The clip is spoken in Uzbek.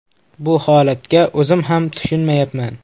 Bu holatga o‘zim ham tushunmayapman.